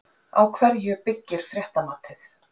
Á hverju byggir fréttamatið?